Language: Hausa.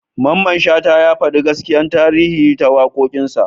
Mamman Shata ya faɗi gaskiyar tarihi ta waƙoƙinsa.